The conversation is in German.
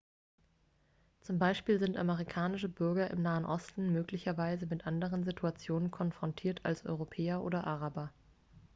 zum beispiel sind amerikanische bürger im nahen osten möglicherweise mit anderen situationen konfrontiert als europäer oder araber